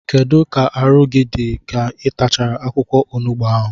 Kedụ ka arụ gị dị ka ị tachara akwụkwọ onugbu ahụ?